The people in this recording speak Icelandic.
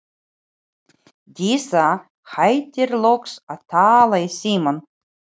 Dísa hættir loks að tala í símann.